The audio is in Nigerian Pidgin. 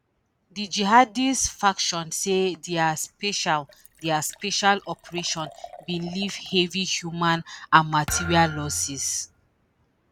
di jihadist faction say dia special dia special operation bin leave heavy human and material losses